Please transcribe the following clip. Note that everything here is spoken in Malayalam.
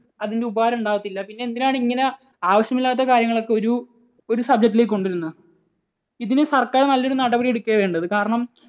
അതിൻറെ ഉപകാരം ഉണ്ടാകത്തില്ല. പിന്നെ എന്തിനാണ് ഇങ്ങനെ ആവശ്യമില്ലാത്ത കാര്യങ്ങൾ ഒക്കെ ഒരു ഒരു subject ലേക്ക് കൊണ്ടുവരുന്നത്? ഇതിന് സർക്കാർ നല്ല ഒരു നടപടി എടുക്കുകയാണ് വേണ്ടത്. കാരണം